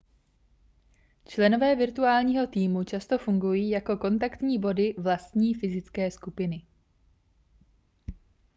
členové virtuálního týmu často fungují jako kontaktní body vlastní fyzické skupiny